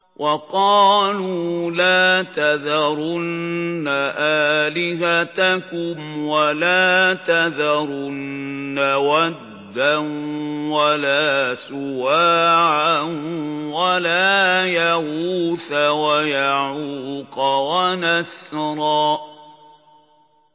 وَقَالُوا لَا تَذَرُنَّ آلِهَتَكُمْ وَلَا تَذَرُنَّ وَدًّا وَلَا سُوَاعًا وَلَا يَغُوثَ وَيَعُوقَ وَنَسْرًا